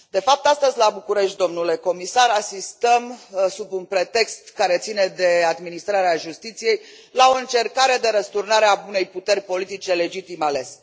De fapt, astăzi la București, domnule comisar, asistăm, sub un pretext care ține de administrarea justiției, la o încercare de răsturnare a unei puteri politice legitim alese.